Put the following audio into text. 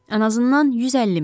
Ən azından 150 mil.